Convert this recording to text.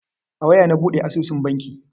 A waya na buɗe asusun banki.